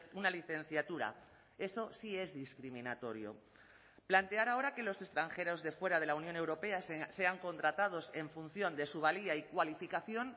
una licenciatura eso sí es discriminatorio plantear ahora que los extranjeros de fuera de la unión europea sean contratados en función de su valía y cualificación